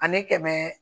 Ani kɛmɛ